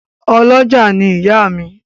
Ọ́lọjá ni ìyá mi